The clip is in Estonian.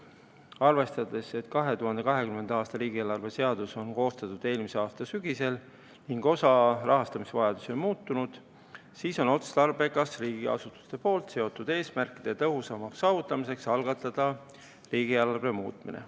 Arvestades, et 2020. aasta riigieelarve seadus on koostatud eelmise aasta sügisel ning osa rahastamisvajadusi on muutunud, siis on otstarbekas riigiasutuste seatud eesmärkide tõhusamaks saavutamiseks algatada riigieelarve muutmine.